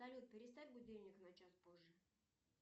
салют переставь будильник на час позже